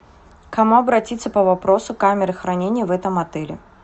к кому обратиться по вопросу камеры хранения в этом отеле